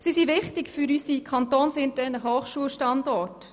Sie sind wichtig für unsere kantonsinternen Hochschulstandorte.